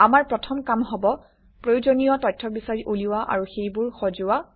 আমাৰ প্ৰথম কাম হব প্ৰয়োজনীয় তথ্য বিচাৰি উলিওৱা আৰু সেইবোৰ সজোৱা